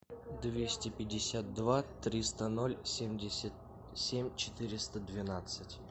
двести пятьдесят два триста ноль семьдесят семь четыреста двенадцать